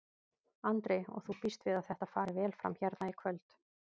Andri: Og þú býst við að þetta fari vel fram hérna í kvöld?